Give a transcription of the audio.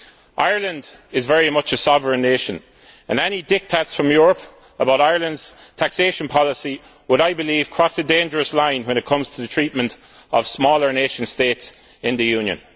Ireland is very much a sovereign nation and any diktats from Europe about Ireland's taxation policy would, I believe, cross a dangerous line when it comes to the treatment of smaller nation states in the Union.